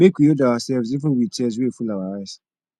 make we hold ourselves even wit tears wey full our eyes